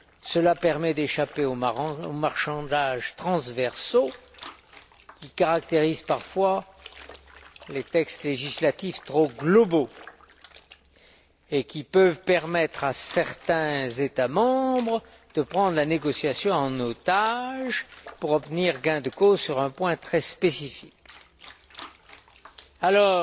Cela permet d'échapper aux marchandages transversaux, qui caractérisent parfois les textes législatifs trop globaux et qui peuvent permettre à certains États membres de prendre la négociation en otage pour obtenir gain de cause sur un point très spécifique. Alors,